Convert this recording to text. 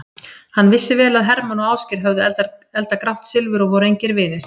Hann vissi vel að Hermann og Ásgeir höfðu eldað grátt silfur og voru engir vinir.